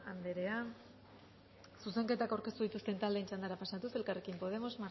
anderea zuzenketak aurkeztu dituzten taldeen txandara pasatuz elkarrekin podemos